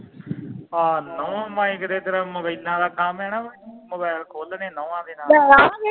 ਆ ਨੁਹ ਮੈ ਕਿਹਾ ਤੇਰਾ ਮੋਬਾਇਲਾ ਦਾ ਕੰਮ ਆ ਨਾ ਵੀ ਮੋਬਾਇਲ ਖੋਲਣੇ ਨੁਹਾ ਦੇ ਨਾਲ